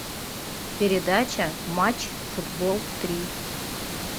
передача матч футбол три